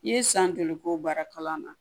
I ye san joli ko baara kalan na